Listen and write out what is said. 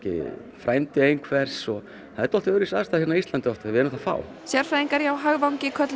frændi einhvers það er dálítið öðruvísi staða á Íslandi við erum það fá sérfræðingar hjá hagvangi kölluðu